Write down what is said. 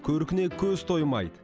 көркіне көз тоймайды